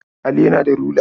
Ali yana da rula.